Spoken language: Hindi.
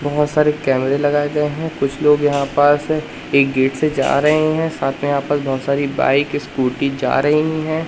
बहोत सारे कैमरे लगाए गए हैं कुछ लोग यहां पास है एक गेट से जा रहे हैं साथ में यहां पास बहोत सारी बाइक स्कूटी जा रही है।